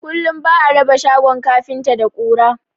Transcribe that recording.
Kullum ba'a raba shagon kafinta da ƙura